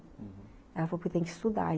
Ela falou, porque tem que estudar.